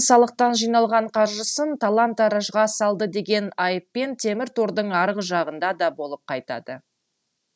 салықтан жиналған қаржысын талан таражға салды деген айыппен темір тордың арғы жағында да болып қайтады